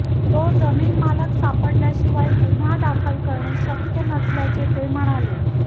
तो जमीन मालक सापडल्या शिवाय गुन्हा दाखल करणे शक्य नसल्याचे ते म्हणाले